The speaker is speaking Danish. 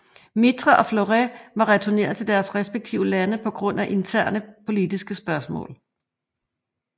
Mitre og Flores var returneret til deres respektive lande på grund af interne politiske spørgsmål